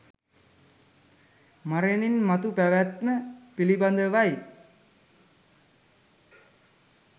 මරණින් මතු පැවැත්ම පිළිබඳවයි